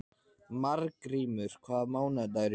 Margrímur, hvaða mánaðardagur er í dag?